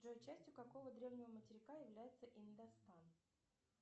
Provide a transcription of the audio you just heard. джой частью какого древнего материка является индостан